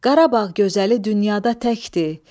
Qarabağ gözəli dünyada təkdir.